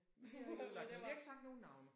Men vi har ikke sagt nogle navne